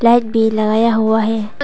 Light भी लगाया हुआ है।